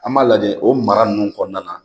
An b'a lajɛ o mara ninnu kɔnɔna na.